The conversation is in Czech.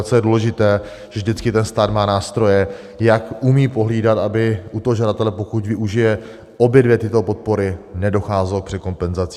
A co je důležité, že vždycky ten stát má nástroje, jak umí pohlídat, aby u toho žadatele, pokud využije obě dvě tyto podpory, nedocházelo k překompenzaci.